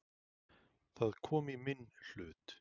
Það kom í minn hlut.